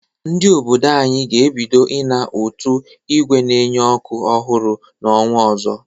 Ndị obodo ga-ebido ịna ụtụ ígwè na-enye ọkụ ọhụrụ n’ọnwa ọzọ.